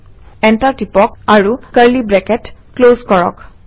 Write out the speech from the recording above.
enter টিপক আৰু curly bracket close কৰক